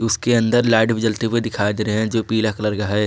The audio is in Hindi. इसके अंदर लाइट भी जलती हुई दिखाई दे रहे है जो पीला कलर का है।